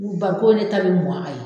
U barikonw de ta bi mɔ a ye